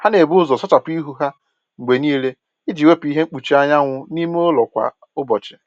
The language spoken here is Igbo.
Ha na-ebu ụzọ sachapụ ihu ha mgbe niile iji wepụ ihe mkpuchi anwụ na ime ụlọ kwa ụbọchị